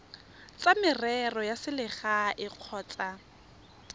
tsa merero ya selegae kgotsa